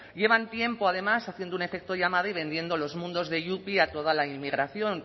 llevan tiempo además haciendo un efecto llamada y vendiendo los mundos de yupi a toda la inmigración